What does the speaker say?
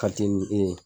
Ka te ni e ye